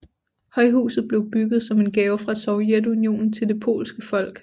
Højhuset blev bygget som en gave fra Sovjetunionen til det polske folk